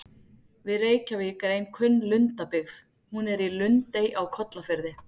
Við Reykjavík er ein kunn lundabyggð, hún er í Lundey á Kollafirði.